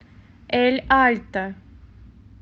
эль альто